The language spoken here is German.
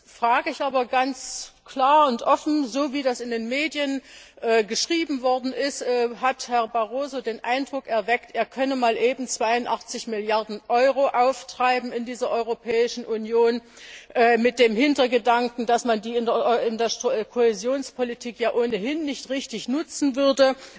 Drittens sage ich aber ganz klar und offen So, wie das in den Medien geschrieben worden ist, hat Herr Barroso den Eindruck erweckt, er könne mal eben 82 Milliarden Euro auftreiben in dieser Europäischen Union, mit dem Hintergedanken, dass man die in der Kohäsionspolitik ohnehin nicht richtig nutzen würde